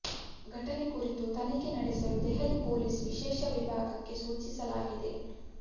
ಘಟನೆ ಕುರಿತು ತನಿಖೆ ನಡೆಸಲು ದೆಹಲಿ ಪೊಲೀಸ್ ವಿಶೇಷ ವಿಭಾಗಕ್ಕೆ ಸೂಚಿಸಲಾಗಿದೆ